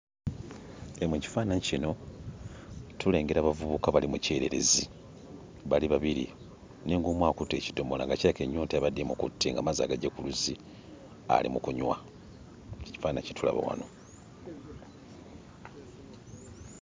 Eno ekifaananyi kino tulengera abavubuka bali mu kyererezi bali babiri, naye ng'omu akutte ekiddomola nga kirabika ennyonta yabadde emukutte ng'amazzi agagye ku luzzi ali mu kunywa. Kye kifaananyi kye tulaba wano